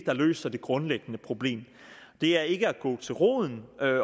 der løser det grundlæggende problem det er ikke at gå til roden